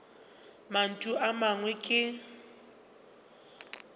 ka mantšu a mangwe ke